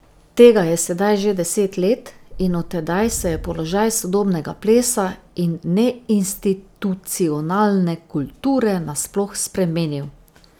Tega je sedaj že deset let in od tedaj se je položaj sodobnega plesa in neinstitucionalne kulture nasploh spremenil.